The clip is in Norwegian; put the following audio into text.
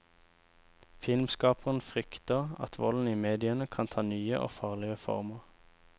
Filmskaperen frykter at volden i mediene kan ta nye og farligere former.